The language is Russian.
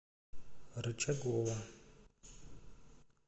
рычагова